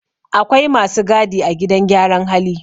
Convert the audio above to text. Akwai masu gadi a gidan gyaran hali